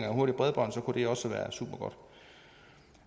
af hurtigt bredbånd kunne det også være supergodt